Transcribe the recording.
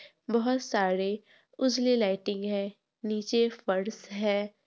बहुत सारे उजली लाइटिंग है नीचे फर्श है ।